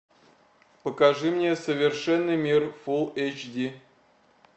покажи мне совершенный мир фул эч ди